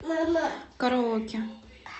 караоке